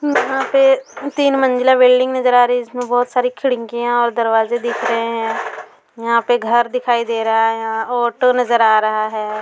यहां पर तीन मंजिला बिल्डिंग नजर आ रही हैं जिसमे बहोत सारे खिड़किया और दरवाजे दिख रहे है यहां पे घर दिखाई दे रहा है यहां ऑटो नजर आ रहा है।